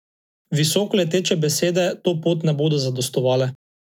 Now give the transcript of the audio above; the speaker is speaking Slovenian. Visokoleteče besede to pot ne bodo zadostovale.